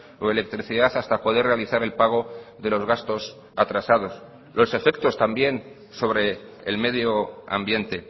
o electricidad hasta poder realizar el pago de los gastos atrasados los efectos también sobre el medio ambiente